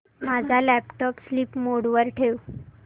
माझा laptop sleep mode वर ठेव